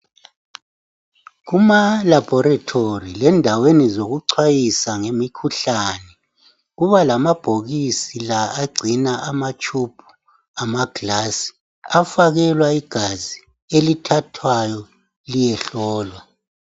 Kuma laboratory lendaweni zokuchwayisa ngemikhuhlane kuba lamabhokisi la agcina amatshubhu amagilasi afakelwa igazi elithathwayo liyehlolwa.